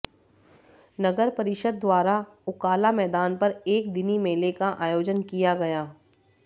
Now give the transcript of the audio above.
नगर परिषद द्वारा उकाला मैदान पर एक दिनी मेले का आयोजन किया गया